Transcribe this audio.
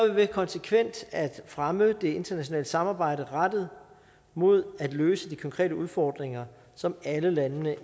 ved konsekvent at fremme det internationale samarbejde rettet mod at løse de konkrete udfordringer som alle landene